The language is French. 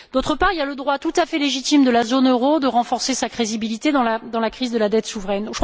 D'autre part, il y a le droit tout à fait légitime de la zone euro de renforcer sa crédibilité dans la crise de la dette souveraine.